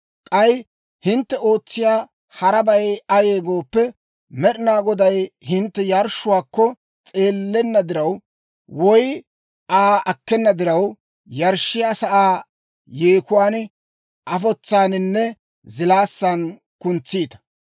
K'ay hintte ootsiyaa harabay ayee gooppe, Med'ina Goday hintte yarshshuwaakko s'eellenna diraw, woy Aa akkena diraw, yarshshiyaa sa'aa yeekuwaan, afotsaaninne zilaassan kuntsiita.